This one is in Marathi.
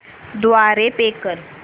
द्वारे पे कर